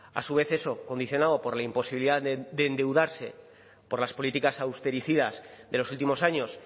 a su vez eso condicionado por la imposibilidad de endeudarse por las políticas austericidas de los últimos años